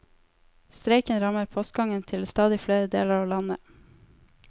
Streiken rammer postgangen til stadig flere deler av landet.